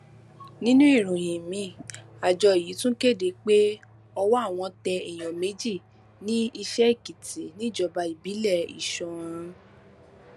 nínú ìròyìn miín àjọ yìí àjọ yìí tún kéde pé ọwọ àwọn tẹ èèyàn méjì ní iṣẹèkìtì níjọba ìbílẹ iṣẹọrun